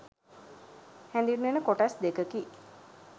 හැඳින්වෙන කොටස් දෙකකි